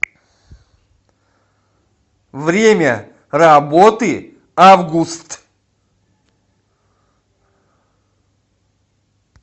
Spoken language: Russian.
время работы август